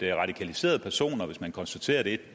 radikaliserede personer hvis man konstaterer at det